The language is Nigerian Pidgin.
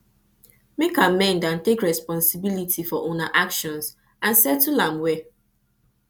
make amend and take responsibility for una actions and settle am well